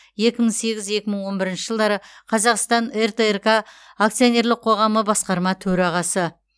екі мың сегіз екі мың он бірінші жылдары қазақстан ртрк акционерлік қоғамы басқарма төрағасы